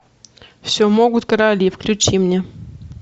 все могут короли включи мне